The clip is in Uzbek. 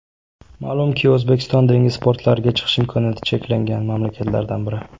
Ma’lumki O‘zbekiston dengiz portlariga chiqish imkoniyati cheklangan mamlakatlardan biri.